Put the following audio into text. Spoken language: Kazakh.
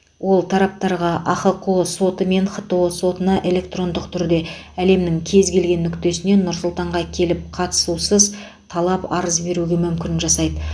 ол тараптарға ахқо соты мен хто сотына электрондық түрде әлемнің кез келген нүктесінен нұр сұлтанға келіп қатысусыз талап арыз беруге мүмкін жасайды